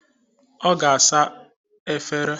Ọ ga asa efere.